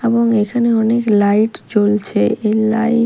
এবং এখানে অনেক লাইট জ্বলছে এই লাইট --